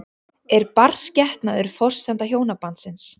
Er barnsgetnaður forsenda hjónabandsins?